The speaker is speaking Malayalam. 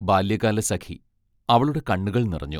ബാല്യകാലസഖി അവളുടെ കണ്ണുകൾ നിറഞ്ഞു.